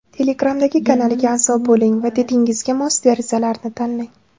Telegramdagi kanaliga a’zo bo‘ling va didingizga mos derazalarni tanlang.